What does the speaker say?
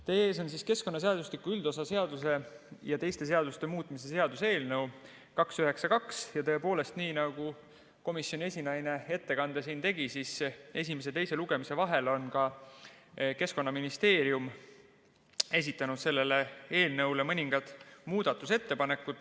Teie ees on keskkonnaseadustiku üldosa seaduse ja teiste seaduste muutmise seaduse eelnõu 292 ja tõepoolest, nii nagu komisjoni esinaine siin ettekannet tehes ütles, esimese ja teise lugemise vahel on ka Keskkonnaministeerium esitanud selle eelnõu kohta mõningad muudatusettepanekud.